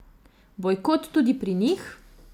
Bojkot tudi pri njih?